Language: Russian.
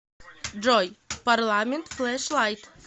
джой парламент флэш лайт